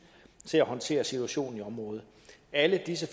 til at håndtere situationen i området alle disse